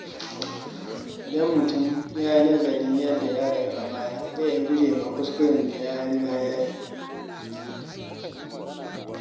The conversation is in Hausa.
Idan mutum yana nazarin yadda ya rayu a baya, zai iya gujewa kuskuren da ya riga ya yi.